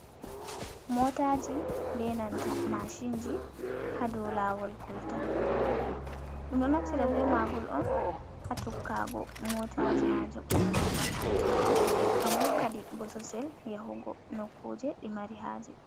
Motaji be nanta mashinji hadow lawol kolta, ɗum ɗo naftira be ma ngol on ha tokkago motaji majum wato ba'anteɗi ngam hokkaɗi bosesel yahugo nokkuje ɗi mari haje.